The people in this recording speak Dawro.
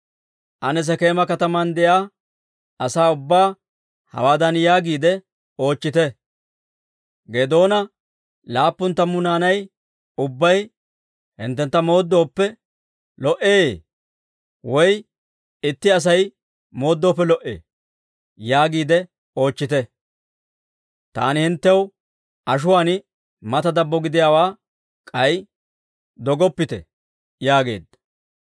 «Ane Sekeema kataman de'iyaa asaa ubbaa hawaadan yaagiide oochchite; ‹Geedoona laappun tammu naanay ubbay hinttentta mooddooppe lo"eyye? Woy itti Asay mooddooppe lo"ee?› yaagiide oochchite. Taani hinttew ashuwaan mata dabbo gidiyaawaa k'ay dogoppite» yaageedda.